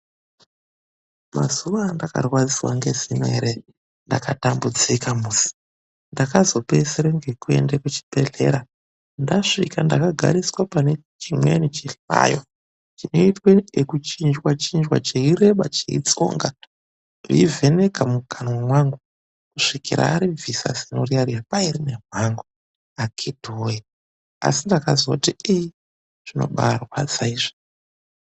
Mazuva andakarwadziwa ngezino here ndakatambudzika musi ndakazodetserwa nekuenda kuchibhedhlera ndasvikayo ndakagariswa pachimwe chihlayo chino itwe kuchinjwa chinjwa cheireba cheitsonga ndeivhenekwa mumukanwa mangu kusvikira vari bvisa zino iroro kwairine mhango akiti woye asi ndakazoti zvinobarwadza izvi.